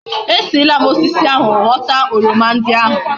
E si lam na osisi ahu ghota oroma ndi ahu